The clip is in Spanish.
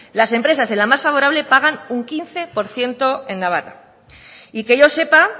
las empresas en la más favorable pagan un quince por ciento en navarra y que yo sepa